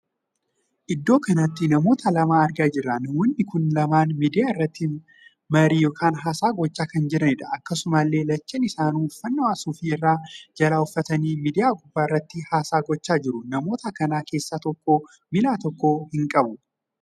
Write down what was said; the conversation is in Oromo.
Iddoo kanatti namoota lama argaa jirra. namoonni kun lamaan miidiyaa irratti marii ykn haasaa gochaa kan jiranidha. akkasumallee lachanuun isaanii uffannaa suufii irraa jala uffatanii miidiyaa gubbaa irratti haasaa gochaa jiru. namoota kan keessaa tokko miillaa tokko hin qabu.